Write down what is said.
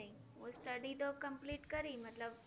study તો complete કરી મતલબ